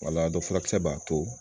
Wala dɔn furakisɛ b'a to